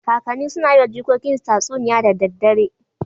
Kakanni suna yi wa jikokinsu tatsuniya da daddare